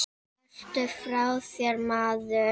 Ertu frá þér, maður?